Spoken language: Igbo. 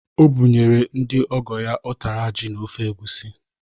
O bụnyere ndị ọgọ ya ụtara ji na ofe egwusi.